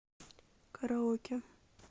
караоке